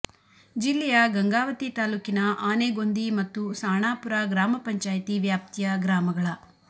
ಜಿಲ್ಲೆಯ ಗಂಗಾವತಿ ತಾಲೂಕಿನ ಆನೆಗೊಂದಿ ಮತ್ತು ಸಾಣಾಪುರ ಗ್ರಾಮ ಪಂಚಾಯ್ತಿ ವ್ಯಾಪ್ತಿಯ ಗ್ರಾಮಗಳ